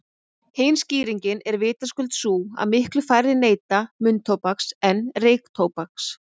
Hin skýringin er vitaskuld sú að miklu færri neyta munntóbaks en reyktóbaks.